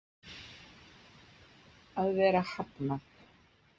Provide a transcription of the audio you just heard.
Að vera hafnað.